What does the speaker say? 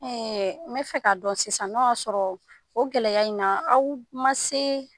Ɛɛ n bɛ fɛ k'a dɔn sisan n'o y'a sɔrɔ o gɛlɛya in na aw ma se